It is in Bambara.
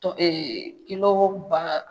Ɔ